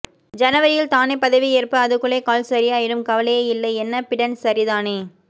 ஜனவரியில் தானே பதவி ஏற்ப்பு அதுக்குள்ளே கால் சரியாயிடும் கவலையே இல்லை என்ன பிடன் சரிதானே